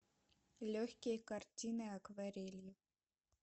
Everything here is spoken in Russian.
легкие картины акварелью